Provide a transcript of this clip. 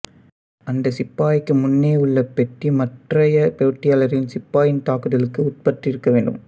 அந்தச் சிப்பாய்க்கு முன்னேயுள்ள பெட்டி மற்றைய போட்டியாளரின் சிப்பாயின் தாக்குதலுக்கு உட்பட்டிருக்க வேண்டும்